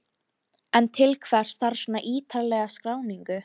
En til hvers þarf svona ítarlega skráningu?